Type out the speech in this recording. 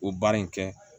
O baara in kɛ